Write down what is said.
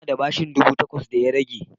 Ina da bashin ɗubu takwas da ya rage